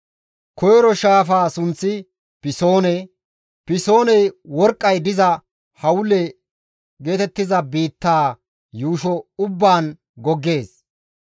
Koyro shaafaa sunththi Pisoone; Pisooney worqqay diza Hawila geetettiza biittaa yuusho ubbaan goggees.